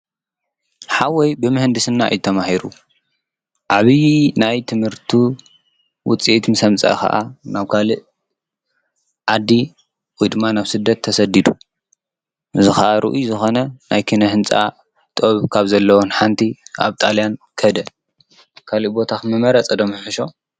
ኃወይ ብምሕንድስና እይተማሂሩ ዓብዪ ናይ ትምህርቱ ውፂአት ምሰ ምጽአ ኸዓ ናውካልእ ዓዲ ዊድማ ናፍ ስደት ተሰዲዱ ዝኻኣርእዩ ዝኾነ ናይ ኪነ ሕንፃ ጥኦብ ካብ ዘለወን ሓንቲ ኣብ ጣልያን ከህደ ካልእ ቦታኽ ምነመረጸ ዶነሕሾ?